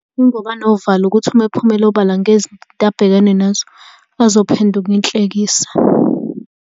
Yingoba anovalo ukuthi uma ephumela obala ngezinto abhekene nazo, azophenduka inhlekisa.